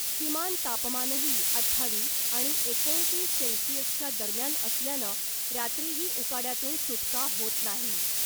किमान तापमानही अठ्ठावीस आणि एकोणतीस सेल्सीअसच्या दम्यान असल्यानं रात्रीही उकाड्यातून सुटका होत नाही .